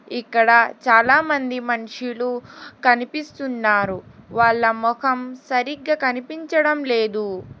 ఇక్కడ చాలామంది మనుషులు కనిపిస్తున్నారు వాళ్ళ మొఖం సరిగ్గా కనిపించడం లేదు.